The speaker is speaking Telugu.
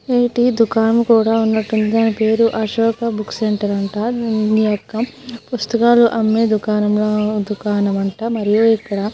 ఏటి దుకాణం కూడా ఉన్నట్టుంది. దాని పేరు అశోక బుక్స్ సెంటర్ అంట. దీని యొక్క పుస్తకాలు అమ్మే దుకాణం అంట. మరియు ఇక్కడ--